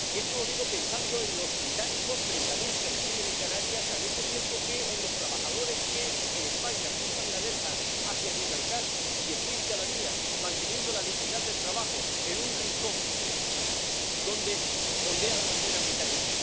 Y esto lo digo pensando en los británicos ⸻treinta mil⸻ que residen en Canarias, al mismo tiempo que en los trabajadores que en España cruzan la verja hacia Gibraltar ⸻diez mil cada día⸻, manteniendo la dignidad del trabajo en un rincón donde ondea la bandera británica.